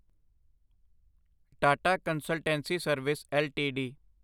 Tata consultancy service LTD